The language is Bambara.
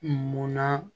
Munna